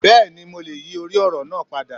Bẹ́ẹ̀ni mo lè yíì orí òrò naa padà